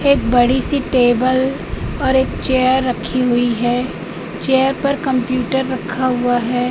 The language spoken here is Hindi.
एक बड़ी सी टेबल और एक चेयर रखी हुई है चेयर पर कंप्यूटर रखा हुआ है।